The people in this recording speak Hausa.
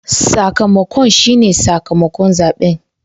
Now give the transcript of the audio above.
Sakamakon shi ne sakamakon zabe.